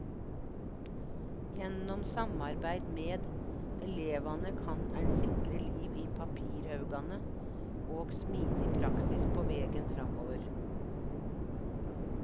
Gjennom samarbeid med elevane kan ein sikre liv i papirhaugane, og smidig praksis på vegen framover.